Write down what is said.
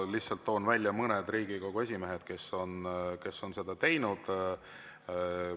Lihtsalt toon välja mõned Riigikogu esimehed, kes on seda teinud.